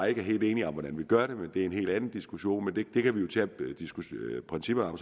ikke er helt enige om hvordan vi gør det men det er en helt anden diskussion og det kan vi jo diskutere principperne